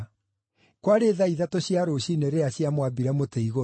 Kwarĩ thaa ithatũ cia rũciinĩ rĩrĩa ciamwambire mũtĩ igũrũ.